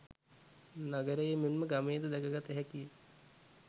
නගරයේ මෙන් ම ගමේ ද දැක ගත හැකි ය.